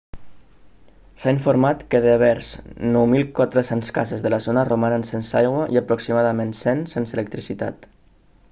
s'ha informat que devers 9.400 cases de la zona romanen sense aigua i aproximadament 100 sense electricitat